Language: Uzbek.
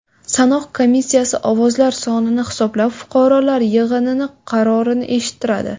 Sanoq komissiyasi ovozlar sonini hisoblab, fuqarolar yig‘ini qarorini eshittiradi.